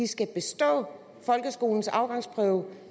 skal bestå folkeskolens afgangsprøve